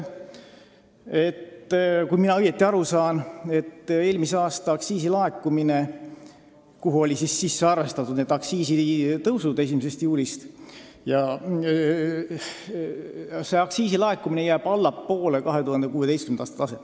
Kui ma õigesti olen aru saanud, siis eelmise aasta aktsiisilaekumine, kuhu olid sisse arvestatud aktsiisitõusud 1. juulist, jääb allapoole 2016. aasta taset.